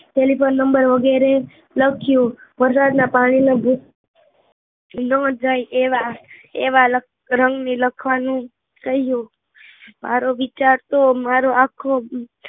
Telephone number વગેરે લખ્યું વરસાદના પાણીમા ભી ન જાય એવા એવા રંગની લખવાનું કહ્યું મારો વિચાર તો મારો આખો